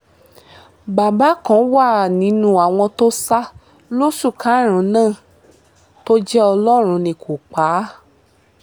bàbá kan wà nínú àwọn tó sá lóṣù karùn-ún náà tó jẹ́ ọlọ́run ní kó pa á